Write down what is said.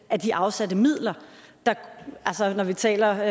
af de afsatte midler når vi taler